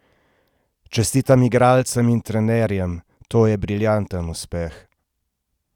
Čestitam igralcem in trenerjem, to je briljanten uspeh!